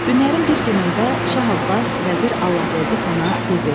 Günlərin bir günündə Şah Abbas vəzir Allahverdi Xana dedi: